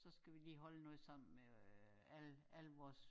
Så skal vi lige holde noget sammen med øh alle alle vores